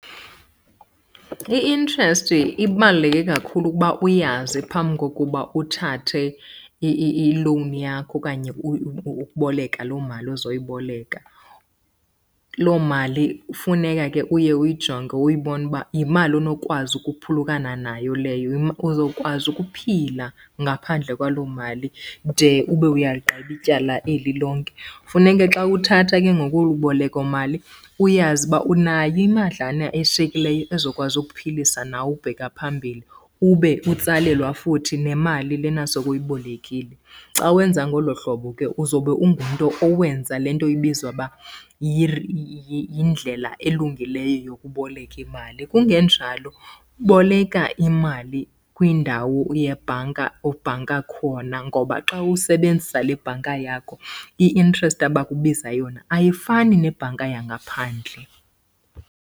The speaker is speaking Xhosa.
I-interest ibaluleke kakhulu ukuba uyazi phambi kokuba uthathe i-loan yakho okanye ukuboleka loo mali uzoyiboleka. Loo mali kufuneka ke uye uyijonge uyibone uba yimali onokwazi ukuphulukana nayo leyo, uzokwazi ukuphila ngaphandle kwaloo mali de ube uyaligqiba ityala eli lonke. Funeke xa uthatha ke ngoku olu bolekomali uyazi uba unayo imadlana eshiyekileyo ezokwazi ukuphilisa nawe ukubheka phambili ube utsalelwa futhi nemali lena sowuyibolekile. Xa wenza ngolo hlobo ke uzobe ungumntu owenza le nto ibizwa uba yindlela elungileyo yokuboleka imali. Kungenjalo boleka imali kwindawo yebhanka obhanka khona ngoba xa usebenzisa le bhanka yakho i-interest abakubiza yona ayifani nebhanka yangaphandle.